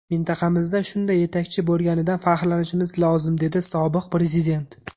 Mintaqamizda shunday yetakchi bo‘lganidan faxrlanishimiz lozim”, dedi sobiq prezident.